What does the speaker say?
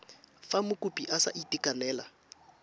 fa mokopi a sa itekanela